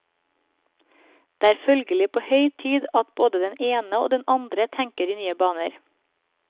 Det er følgelig på høy tid at både den ene og den andre tenker i nye baner.